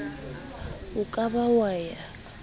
o ka ba wa ya